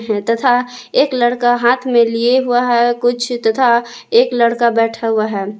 तथा एक लड़का हाथ में लिए हुआ है कुछ तथा एक लड़का बैठा हुआ है।